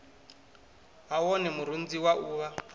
ha wone murunzi wa uvha